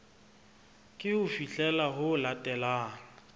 ke ho fihlela ho latelang